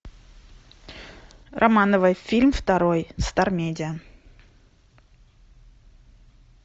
романовы фильм второй стар медиа